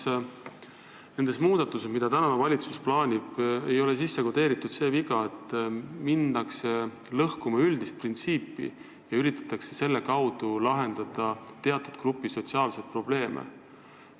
Kas nendesse muudatustesse, mida valitsus plaanib, ei ole sisse kodeeritud see viga, et minnakse lõhkuma üldist printsiipi ja üritatakse sel moel lahendada teatud elanikegrupi sotsiaalseid probleeme?